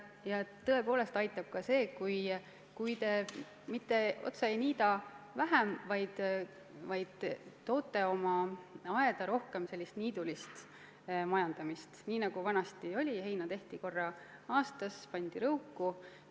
Ja tõepoolest aitab ka see, kui te mitte otse ei niida vähem, vaid toote oma aeda rohkem sellist niidulist majandamist, nii nagu vanasti oli: heina tehti korra aastas ja pandi rõuku.